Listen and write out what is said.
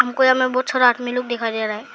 कोई हमें बहुत सारा आदमी लोग दिखाई दे रहा है।